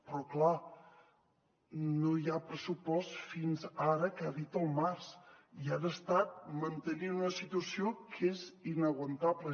però clar no hi ha pressupost fins ara que ha dit al març i han estat mantenint una situació que és inaguantable